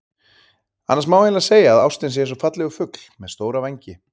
Annars má eiginlega segja að ástin sé eins og fallegur fugl með stóra vængi.